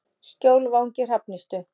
Skjólvangi Hrafnistu